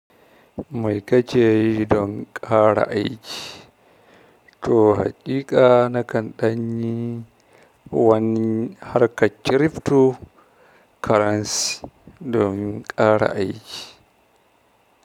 Mai kake yi don ƙara aiki? To haƙiƙa na kan ɗanyi wani harkar kirifto karansi domin ƙara aiki.